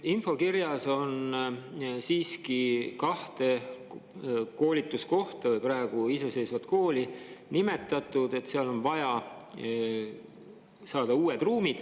Infokirjas on siiski nimetatud kahte koolituskohta või praegu iseseisvat kooli ning, et need vajavad uusi ruume.